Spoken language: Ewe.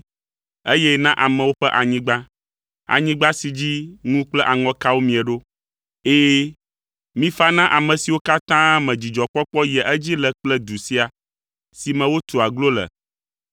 eye na nye amewo ƒe anyigba, anyigba si dzi ŋu kple aŋɔkawo mie ɖo. Ɛ̃, mifa na aƒe siwo katã me dzidzɔkpɔkpɔ yia edzi le kple du sia, si me wotua aglo le